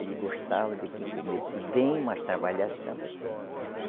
Ele gostava de quem comesse bem, mas trabalhasse também.